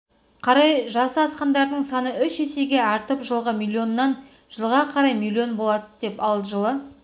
қарай жасы асқандардың саны үш есеге артып жылғы миллионнан жылға қарай миллион болады ал жылы